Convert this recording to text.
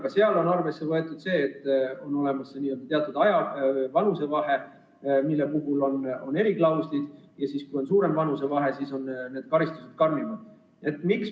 Ka on arvesse võetud seda, et on olemas teatud vanusevahe, mille puhul on eriklauslid, ja kui see vanusevahe on suurem, siis on karistused karmimad.